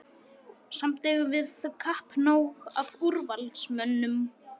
Samt eigum við kappnóg af úrvalsmönnum.